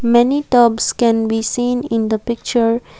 many tubs can be seen in the picture.